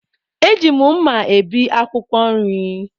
Eji m mma ebi akwụkwọ nri.